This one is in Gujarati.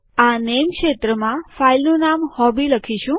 આ નેમ ક્ષેત્રમાં ફાઈલનું નામ હોબી લખીશું